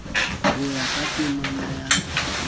ho ya ka temana ya